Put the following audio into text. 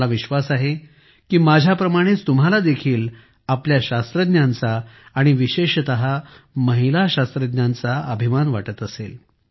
मला विश्वास आहे की माझ्याप्रमाणेच तुम्हांला देखील आपल्या शास्त्रज्ञांचा आणि विशेषतः महिला शास्त्रज्ञांचा विशेष अभिमान वाटत असेल